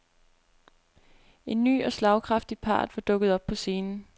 En ny og slagkraftig part var dukket op på scenen.